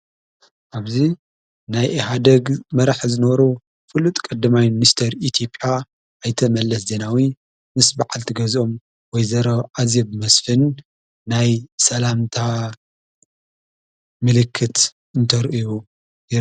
ኣብዙይ ናይ ኢሃዴግ መራሒ ዝነበሩ ፍሉጥ ቀድማይ ሚንስተር ኢትዮጵያ ኣይቶ መለስ ዜናዊ ምስ በዓልቲ ገዝኦም ወይዘሮ ኣዜብ መስፍን ናይ ሰላምታ ምልክት እንተርእዩ።